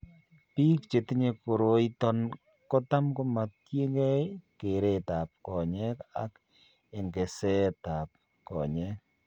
Biik chetinye koroiton kotam komakyinge kereet ab konyek ak eng'seet ab konyek